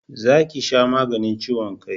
Za ki sha maganin ciwon kai